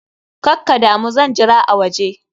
Kakkadamu, zan jira a waje.